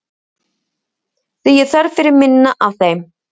Því er þörf fyrir minna af þeim.